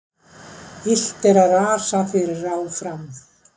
Illt er að rasa fyrir ráð fram.